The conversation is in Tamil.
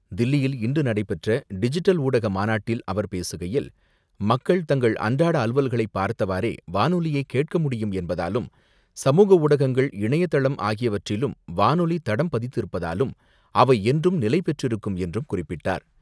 தில்லியில் இன்று நடைபெற்ற டிஜிட்டல் ஊடக மாநாட்டில் அவர் பேசுகையில், மக்கள் தங்கள் அன்றாட அலுவல்களை பார்த்தவாறே வானொலியை கேட்க முடியும் என்பதாலும், சமூக ஊடகங்கள், இணையதளம் ஆகியவற்றிலும் வானொலி தடம் பதித்திருப்பதாலும் அவை என்றும் நிலை பெற்றிருக்கும் என்றும் குறிப்பிட்டார்.